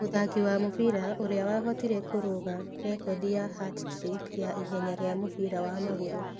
Mũthaki wa mũbira ũrĩa wahotire kũrũga rekondi ya "Hat Trick" ya ihenya rĩa mũbira wa magũrũ.